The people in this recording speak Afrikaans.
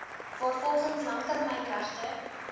waarvolgens langtermyn regte